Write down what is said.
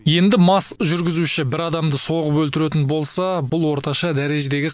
енді мас жүргізуші бір адамды соғып өлтіретін болса бұл орташа дәрежедегі